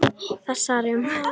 Þessar um